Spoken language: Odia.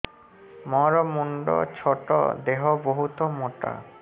ମୋର ମୁଣ୍ଡ ଛୋଟ ଦେହ ବହୁତ ମୋଟା